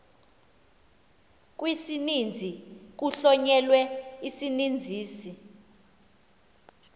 kwisininzi kuhlonyelwe isininzisi